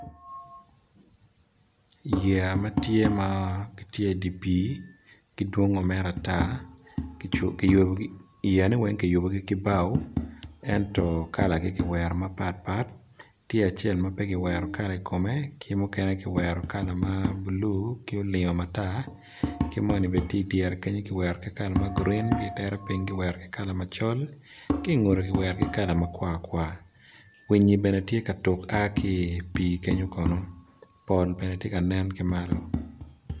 Yeya ma tye gitye dye pii gidwongo mere atar, yea ne weng kiyubo gi ki bao ento kalagi kiwerogi mapat pat tye acel mape giwero kala i kome, ki mukene kiwero kala mablue ki owero matar ki moni bene tye idyere kenyo gitwero ki kala ma green gitere ping kiwero ki kala macol kingute kiwero ki kala makwar kwar, winyi bene tye ka tuk aa ki pi kenyo kono pol bene tye ka nen ki malo